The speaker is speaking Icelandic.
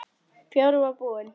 Bjórinn var búinn.